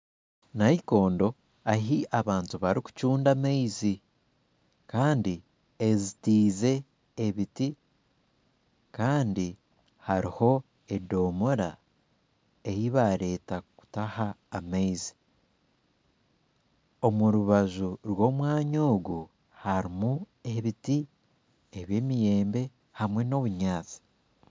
Naikondo ahu abantu barikucunda amaizi Kandi ezitiize ebiti Kandi hariho edomoora eyi bareeta kutaha amaizi omu rubaju rw'omwanya ogu harimu ebiti by'emiyembe hamwe nobunyatsi